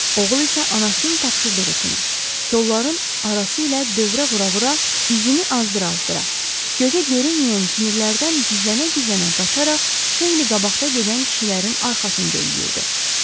Oğul isə anasının tapşırdığı kimi kollarin arası ilə dövrə vura-vura izini azdıra-azdıra gözə görünməyən kinirlərdən gizlənə-gizlənə qaçaraq xeyli qabaqda gedən kişilərin arxasınca yüyrdü.